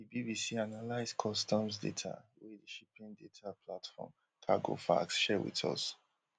di bbc analyse customs data wey di shipping data platform cargofax share wit us